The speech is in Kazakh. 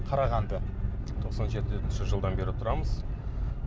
қарағанды тоқсан жетінші жылдан бері тұрамыз